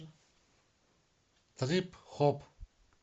трип хоп